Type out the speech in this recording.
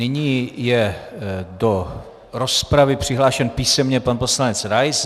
Nyní je do rozpravy přihlášen písemně pan poslanec Rais.